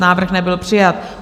Návrh nebyl přijat.